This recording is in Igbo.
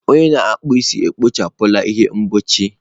Onye na-akpụ isi ekpochapụla ihe mgbochi.